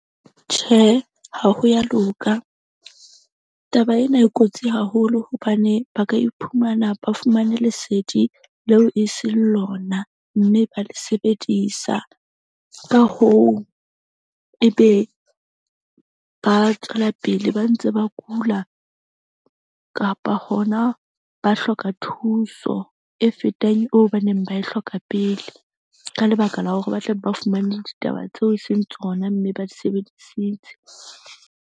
Tjhe, ha ho ya loka. Taba ena e kotsi haholo hobane ba ka iphumana ba fumane lesedi leo e seng lona. Mme ba le sebedisa ka hoo, ebe ba tswela pele ba ntse ba kula kapa hona ba hloka thuso e fetang eo ba neng ba e hloka pele. Ka lebaka la hore ba tla be ba fumane ditaba tseo e seng tsona mme ba di sebedisitse.